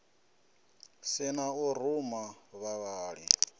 si na u ruma vhavhali